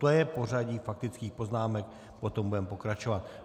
To je pořadí faktických poznámek, potom budeme pokračovat.